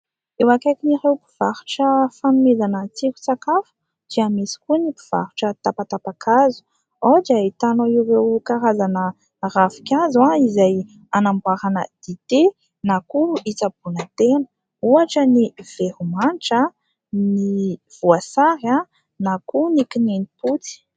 Eo akaikin'ireo mpivarotra fanomezana tsiron-tsakafo dia misy koa ny mpivarotra tapatapakazo. Ao dia ahitanao ireo karazana ravinkazo, izay anamboarana dite, na koa itsaboana tena, ohatra : ny veromanitra, ny voasary, na koa ny kininimpotsy.